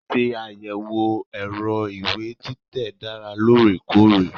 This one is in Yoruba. Ṣíṣe àyẹ̀wò ẹ̀rọ ìwé títẹ̀ dára lóòrèkóòrè.